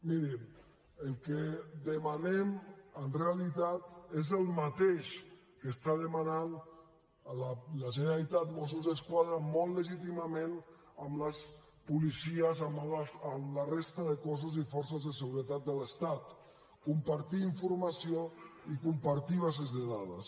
mirin el que demanem en realitat és el mateix que està demanant la generalitat mossos d’esquadra molt legítimament amb les policies amb la resta de cossos i forces de seguretat de l’estat compartir informació i compartir bases de dades